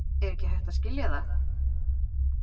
Er ekki hægt að skilja það?